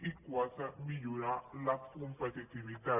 i quatre millorar la competitivitat